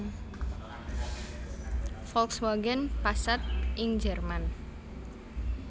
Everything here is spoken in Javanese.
Volkswagen Passat ing Jerman